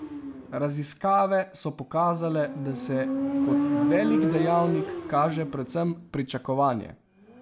Raziskave so pokazale, da se kot velik dejavnik kaže predvsem pričakovanje.